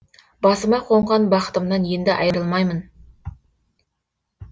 басыма қонған бақытымнан енді айырылмаймын